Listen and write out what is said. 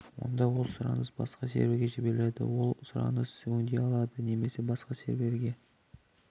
онда ол сұраныс басқа серверге жібереді ол өзі сұраныс өңдей алады немесе басқа серверге